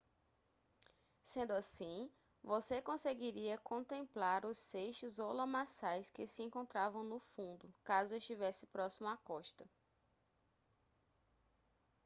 sendo assim você conseguiria contemplar os seixos ou lamaçais que se encontravam no fundo caso estivesse próximo à costa